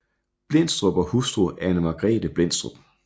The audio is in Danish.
Blendstrup og hustru Anne Margrethe Blendstrup